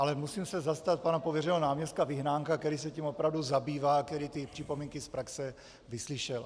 Ale musím se zastat pana pověřeného náměstka Vyhnánka, který se tím opravdu zabývá a který ty připomínky z praxe vyslyšel.